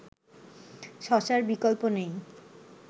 শশার বিকল্প নেই